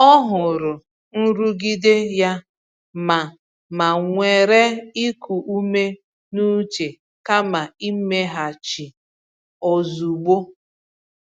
Ọ hụrụ nrụgide ya ma ma were iku ume n’uche kama imeghachi ozugbo.